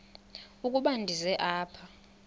ukuba ndize apha